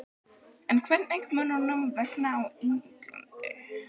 En hvernig mun honum vegna á Englandi?